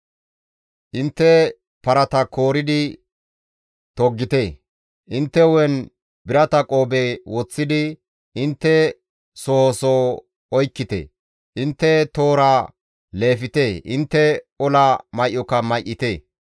Intte parata kooridi toggite; intte hu7en birata qoobe woththidi, intte soho soho oykkite! Intte toora leefte; intte ola may7oka may7ite!